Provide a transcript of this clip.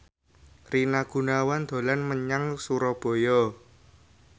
Rina Gunawan dolan menyang Surabaya